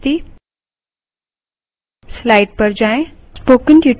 numbers dot txt